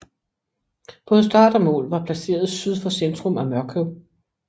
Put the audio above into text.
Både start og mål var placeret syd for centrum af Mørkøv